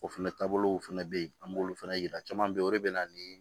O fɛnɛ taabolo fɛnɛ be yen an b'olu fana yira caman be o de be na nii